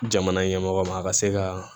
Jamana ɲɛmɔgɔ ma a ka se ka